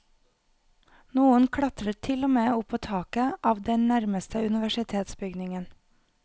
Noen klatret til og med opp på taket av den nærmeste universitetsbygningen.